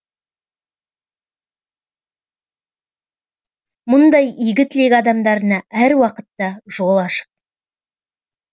мұндай игі тілек адамдарына әр уақытта жол ашық